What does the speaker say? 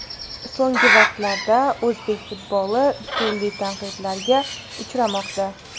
So‘nggi vaqtlarda o‘zbek futboli turli tanqidlarga uchramoqda.